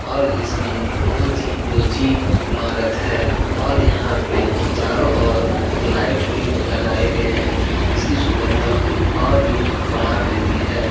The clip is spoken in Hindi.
और इसकी बहुत ही ऊची इमारत है और यहाँ पे चारो ओर लाइट भी लगाये गए है जिसकी सुन्दरता ओर भी बढ़ा देती है।